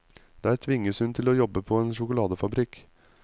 Der tvinges hun til å jobbe på en sjokoladefabrikk.